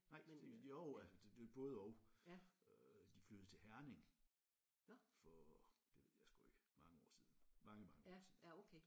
Nej men jo altså det det både de flyttede til Herning for det ved jeg sgu ikke mange år siden mange mange år siden